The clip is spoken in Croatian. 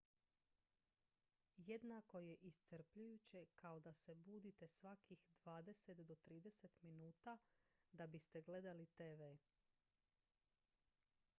jednako je iscrpljujuće kao da se budite svakih dvadeset do trideset minuta da biste gledali tv